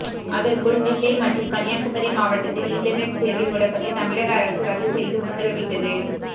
அதற்குள் நெல்லை மற்றும் கன்னியாகுமரி மாவட்டத்தில் இன்டர்நெட் சேவை முடக்கத்தை தமிழக அரசு ரத்து செய்து உத்தரவிட்டது